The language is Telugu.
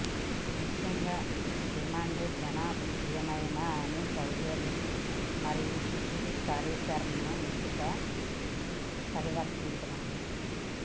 ముఖ్యంగా డిమాండ్ జనప్రియమైన అని సౌలభ్యం మరియు విస్తృత కార్యాచరణను ఎంపికలు పరివర్తించడం